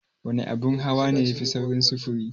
Wana abin hawa ne yafi saurin sufuri?